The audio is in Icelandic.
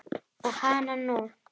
Og hananú!